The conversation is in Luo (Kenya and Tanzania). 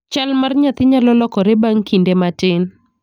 Chal mar nyathi nyalo lokore bang' kinde matin.